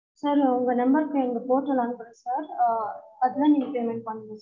sir உங்க number க்கு எங்க portal அனுப்புறோம் sir ஆஹ் அதுதான் நீங்க payment பண்ணனும்